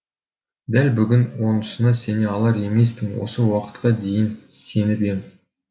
дәл бүгін онысына сене алар емеспін осы уақытқа дейін сеніп ем